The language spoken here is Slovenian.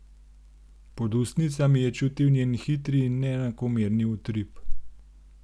Pod ustnicami je čutil njen hitri in neenakomerni utrip.